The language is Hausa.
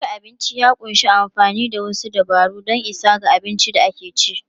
Dafa abinci ya ƙunshi amfani da wasu dabaru don isa ga abin da ake ci.